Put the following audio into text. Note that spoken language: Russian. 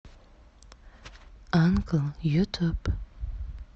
анкл ютуб